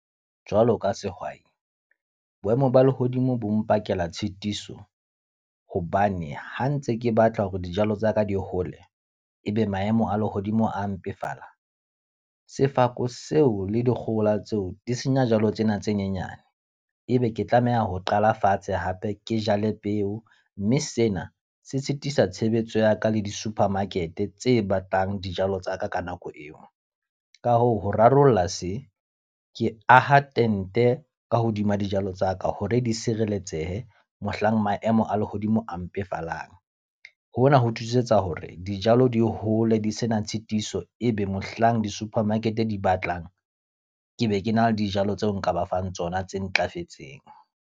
Jwalo ka sehwai, boemo ba lehodimo bo mpakela tshitiso. Hobane ha ntse ke batla hore dijalo tsa ka di hole, e be maemo a lehodimo a mpefala. Sefako seo le dikgohola tseo di senya jalo tsena tse nyenyane. E be ke tlameha ho qala fatshe hape ke jale peo, mme sena se sitisa tshebetso ya ka le di-supermarket tse batlang dijalo tsa ka ka nako eo. Ka hoo, ho rarolla se, ke aha tente ka hodima dijalo tsa ka hore di sireletsehe mohlang maemo a lehodimo a mpefalang. Hona ho thusetsa hore dijalo di hole di sena tshitiso. E be mohlang di-supermarket di batlang, ke be ke na le dijalo tseo nka ba fang tsona tse ntlafetseng.